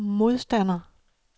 modstander